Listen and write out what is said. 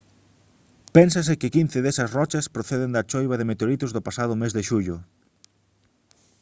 pénsase que quince desas rochas proceden da choiva de meteoritos do pasado mes de xullo